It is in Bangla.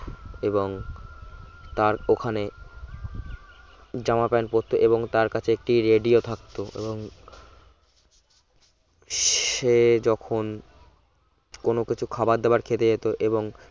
এবং তার ওখানে জামা প্যান্ট পরতো এবং তার কাছে একটি radio থাকতো উম সে যখন কোন কিছু খাবার দাবার খেতে যেতো এবং